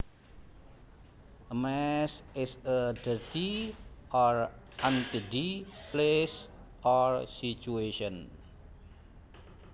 A mess is a dirty or untidy place or situation